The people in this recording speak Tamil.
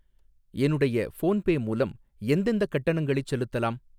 என்னுடைய ஃபோன்பே மூலம் எந்தெந்தக் கட்டணங்களைச் செலுத்தலாம்?